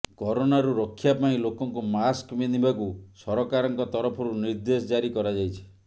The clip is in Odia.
କରୋନା ରୁ ରକ୍ଷା ପାଇଁ ଲୋକଙ୍କୁ ମାସ୍କ ପିନ୍ଧବାକୁ ସରକାରଙ୍କ ତରଫରୁ ନିର୍ଦେଶ ଜାରି କରାଯାଇଛି